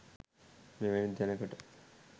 මෙවැනි තැනකට